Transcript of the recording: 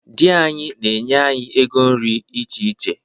Di anyị na-enye anyị ego nri iche iche.